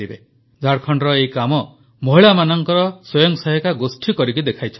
ଝାଡ଼ଖଣ୍ଡର ଏହି କାମ ମହିଳାମାନଙ୍କ ସ୍ୱୟଂସହାୟିକା ଗୋଷ୍ଠୀ କରିକି ଦେଖାଇଛନ୍ତି